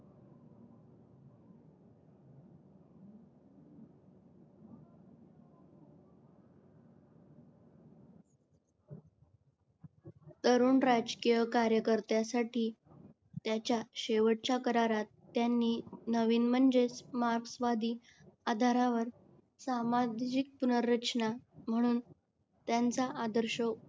तरुण राजकीय कार्यकर्त्यांसाठी त्याच्या शेवटच्या करारात त्यांनी नवीन म्हणजेच मार्क्स वादी आधारावर सामाजिक पुनर्रचना म्हणून त्यांचा आदर्श